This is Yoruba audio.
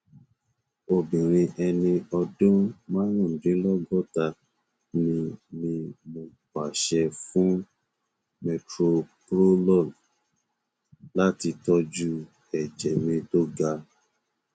obìnrin ẹni ọdún márùndínlọgọta ni mí mo pàṣẹ fún metoprolol láti tọjú ẹjẹ mi tó ga